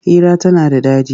Hira tana da daɗi.